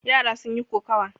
Yara sun yi kokawa.